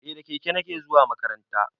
Eh da keke nake zuwa makaranta